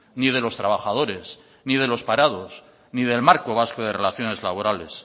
ni de los trabajadores ni de los parados ni del marco vasco de relaciones laborales